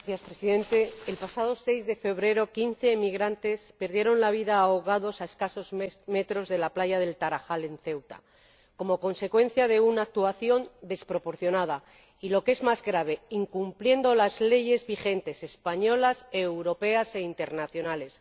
Señor Presidente, el pasado 6 de febrero, quince inmigrantes perdieron la vida ahogados a escasos metros de la playa del Tarajal, en Ceuta, como consecuencia de una actuación desproporcionada y, lo que es más grave, incumpliendo las leyes vigentes españolas, europeas e internacionales.